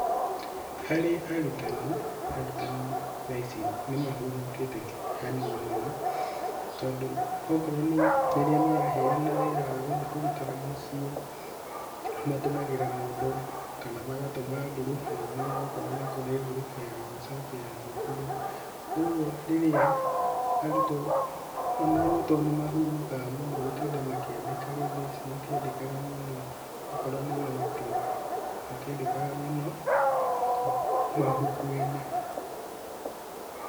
Harĩ arutani, arutani thaici nĩ mahũmũkĩte hanini tondũ okorwo nĩ rĩrĩa maraheana wĩra wa gũthi kũrutĩra mũciĩ matũmagĩra mũndũ kana magatũma ngurubu-inĩ okorwo nĩ kũrĩ ngurubu ya WhatsApp ya thukuru, ũguo rĩrĩa arutwo onao to nĩmahũmũkaga mũno gũtinda makĩandĩka rĩndĩs matiandĩkaga mũno okorwo nĩ nũti matiandĩkaga mũno mabuku-inĩ.